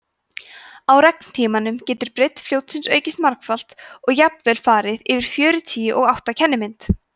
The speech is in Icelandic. á regntímanum getur breidd fljótsins aukist margfalt og jafnvel farið yfir fjörutíu og átta kennimynd